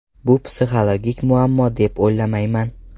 Bu psixologik muammo deb o‘ylamayman.